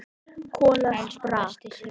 Kolla sprakk.